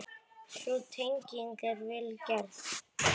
Sú tenging er vel gerð.